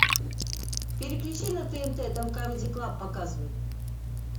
переключи на тнт там камеди клаб показывают